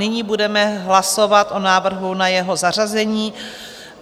Nyní budeme hlasovat o návrhu na jeho zařazení.